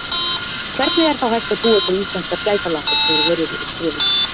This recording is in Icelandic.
Hvernig er þá hægt að búa til íslenskar gæsalappir þegar verið er að skrifa texta?